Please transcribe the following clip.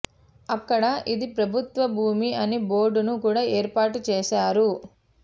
అక్కడ ఇది ప్రభుత్వ భూమి అని బోర్డును కూడా ఏర్పాటు చేసా రు